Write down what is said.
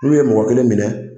N'u ye mɔgɔ kelen minɛ.